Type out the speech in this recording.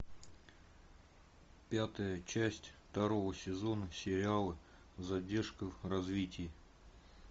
пятая часть второго сезона сериала задержка в развитии